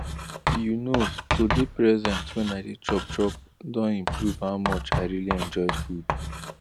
you know to dey present when i dey chop chop don improve how much i really enjoy food